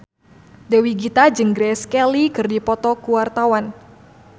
Dewi Gita jeung Grace Kelly keur dipoto ku wartawan